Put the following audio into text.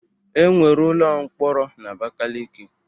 E nwere ụlọ mkpọrọ n'Abakaleke.